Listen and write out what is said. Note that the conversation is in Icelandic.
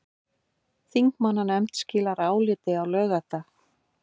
Þingmannanefnd skilar áliti á laugardag